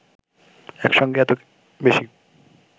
একসঙ্গে এত বেশি